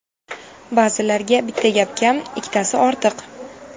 Ba’zilarga bitta gap kam, ikkitasi ortiq.